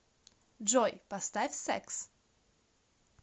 джой поставь секс